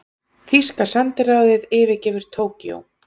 Þýska sendiráðið yfirgefur Tókýó